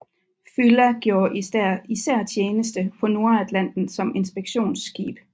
Fylla gjorde især tjeneste på Nordatlanten som inspektionsskib